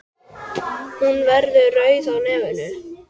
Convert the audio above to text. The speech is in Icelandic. Hún verður rauð á nefinu.